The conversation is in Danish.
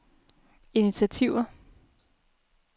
initiativer